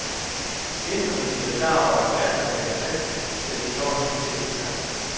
Gæsterne bliver klar over, at værten taler sandt, da de når hen til udgangen.